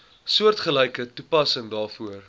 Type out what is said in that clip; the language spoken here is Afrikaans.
soortgelyke toepassing daarvoor